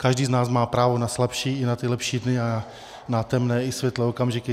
Každý z nás má právo na slabší i na ty lepší dny a na temné i světlé okamžiky.